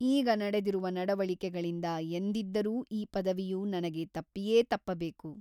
ಈಗ ನಡೆದಿರುವ ನಡವಳಿಕೆಗಳಿಂದ ಎಂದಿದ್ದರೂ ಈ ಪದವಿಯು ನನಗೆ ತಪ್ಪಿಯೇ ತಪ್ಪಬೇಕು.